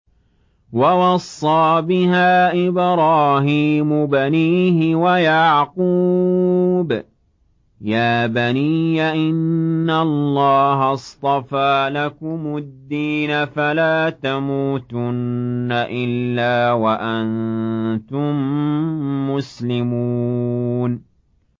وَوَصَّىٰ بِهَا إِبْرَاهِيمُ بَنِيهِ وَيَعْقُوبُ يَا بَنِيَّ إِنَّ اللَّهَ اصْطَفَىٰ لَكُمُ الدِّينَ فَلَا تَمُوتُنَّ إِلَّا وَأَنتُم مُّسْلِمُونَ